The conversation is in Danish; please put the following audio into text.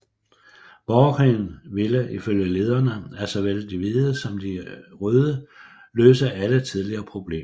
Borgerkrigen ville ifølge lederne af såvel de hvide som de røde løse alle tidligere problemer